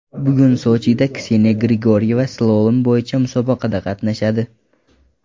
Bugun Sochida Kseniya Grigoryeva slalom bo‘yicha musobaqada qatnashadi.